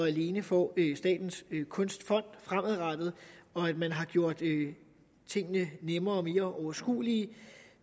alene får statens kunstfond og at man har gjort tingene nemmere og mere overskuelige